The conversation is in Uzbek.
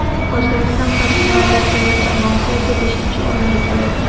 O‘zbekiston professionallar terma jamoasi esa beshinchi o‘rinnni egallagan.